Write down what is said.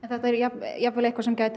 þetta er jafnvel eitthvað sem gæti